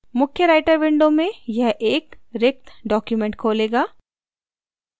मुख्य writer window में यह एक रिक्त document खोलेगा